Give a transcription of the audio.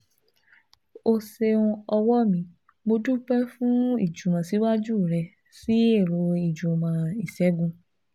O ṣeun ọ̀wọ́ mi, mo dúpẹ́ fún ìjùmọ̀síwájú rẹ sí ẹ̀rọ ìjùmọ̀ ìṣègùn